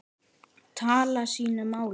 tala sínu máli.